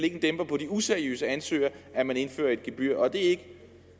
en dæmper på de useriøse ansøgere at man indfører et gebyr og er det ikke